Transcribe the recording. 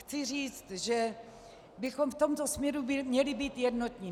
Chci říct, že bychom v tomto směru měli být jednotní.